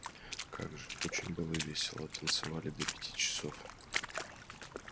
как же очень было весело танцевали до пяти часов